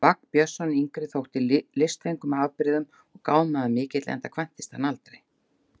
Vagn Björnsson yngri þótti listfengur með afbrigðum og gáfumaður mikill, enda kvæntist hann aldrei.